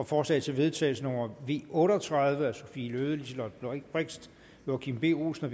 forslag til vedtagelse nummer v otte og tredive af sophie løhde liselott blixt joachim b olsen